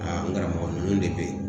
Aa n karamɔgɔ nunnu de be yen.